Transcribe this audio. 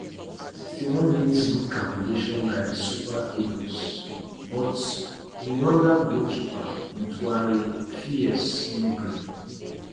Sixty one mins good calculation by di super eagles but rwanda goalkeeper ntwari fierce no gree